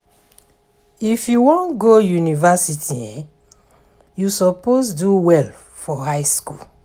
If you wan go university, you suppose do well for high school.